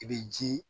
I bɛ ji